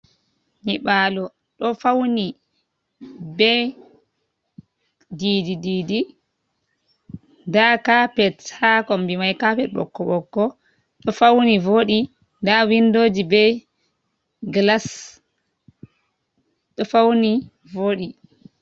Nyi balo do fauni, be didi-didi, nda kapet haa kombi mai, kapet bo kapet bokko bokko, do fauni vodi ,da windoji be glas do fauni vodi.